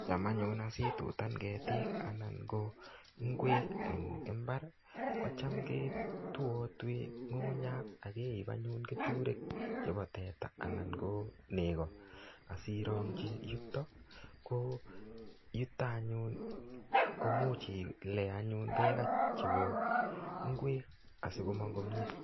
cham anyun itutan ketik ana ko ngwek eng mbar ko cha ketuatui keturek che ba teta ana ko ngok. ko nito anyun igere ko much itile bek che bo ngwek asi komang komyei